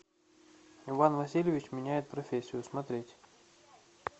иван васильевич меняет профессию смотреть